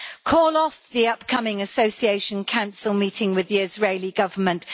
Call off the upcoming Association Council meeting with the Israeli Government.